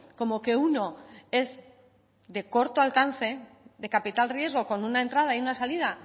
como que uno es de corto alcance de capital riesgo con una entrada y una salida